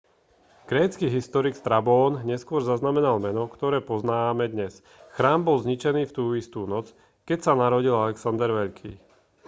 grécky historik strabón neskôr zaznamenal meno ktoré poznáme dnes chrám bol zničený v tú istú noc keď sa narodil alexander veľký